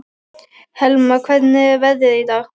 Helma, hvernig er veðrið í dag?